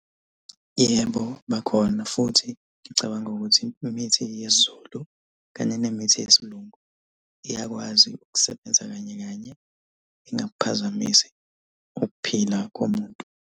Yebo, bakhona futhi ngicabanga ukuthi imithi yesiZulu kanye nemithi yesilungu iyakwazi ukusebenza kanye kanye ingakuphazamisi ukuphila komuntu.